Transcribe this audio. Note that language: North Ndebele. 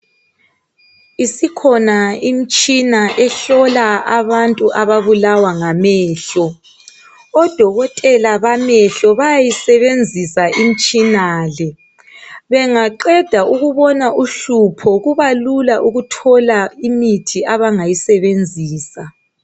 Isikhona imtshina ehlola abantu ababulawa ngamehlo. Odokotela bamehlo bayayisebenzisa imtshina le. Bengaqeda ukubona uhlupho kubalula ukuthola imithi abangayisebenzisa.